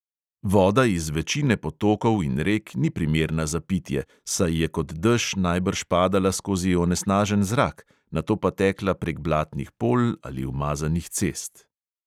Voda iz večine potokov in rek ni primerna za pitje, saj je kot dež najbrž padala skozi onesnažen zrak, nato pa tekla prek blatnih polj ali umazanih cest.